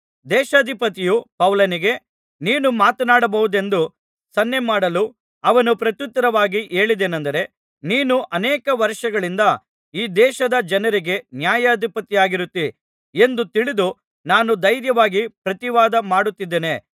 ದೇಶಾಧಿಪತಿಯು ಪೌಲನಿಗೆ ನೀನು ಮಾತನಾಡಬಹುದೆಂದು ಸನ್ನೆಮಾಡಲು ಅವನು ಪ್ರತ್ಯುತ್ತರವಾಗಿ ಹೇಳಿದ್ದೇನಂದರೆ ನೀನು ಅನೇಕ ವರ್ಷಗಳಿಂದ ಈ ದೇಶದ ಜನರಿಗೆ ನ್ಯಾಯಾಧಿಪತಿಯಾಗಿರುತ್ತೀ ಎಂದು ತಿಳಿದು ನಾನು ಧೈರ್ಯವಾಗಿ ಪ್ರತಿವಾದ ಮಾಡುತ್ತಿದ್ದೇನೆ